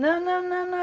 Não, não, não,